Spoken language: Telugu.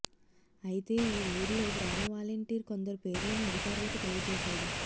అయితే ఈ ఊర్లో గ్రామ వాలంటీర్ కొందరు పేర్లను అధికారులకు తెలియజేశాడు